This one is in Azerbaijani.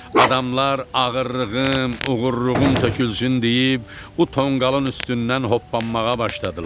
Adamlar ağırlığım, uğurluğum tökülsün deyib bu tonqalın üstündən hoppanmağa başladılar.